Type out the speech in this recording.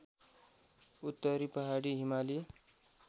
उत्तरी पहाडी हिमाली